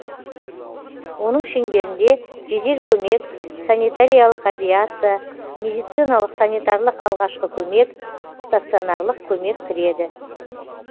оның шеңберінде жедел көмек санитариялық авиация медициналық санитарлық алғашқы көмек станционарлық көмек кіреді